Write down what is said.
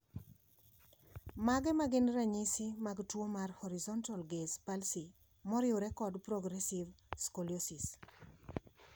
Mage magin ranyisi mag tuo mar Horizontal gaze palsy moriwre kod progressive scoliosis?